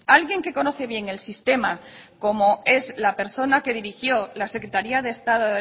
alguien que conoce bien el sistema como es la persona que dirigió la secretaría de estado